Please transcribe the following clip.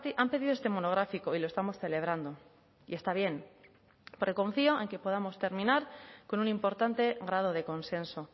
han pedido este monográfico y lo estamos celebrando y está bien porque confío en que podamos terminar con un importante grado de consenso